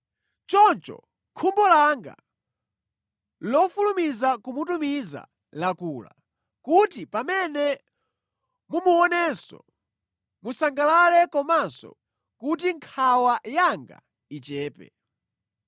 Choncho khumbo langa lofulumiza kumutumiza lakula, kuti pamene mumuonenso musangalale komanso kuti nkhawa yanga ichepe.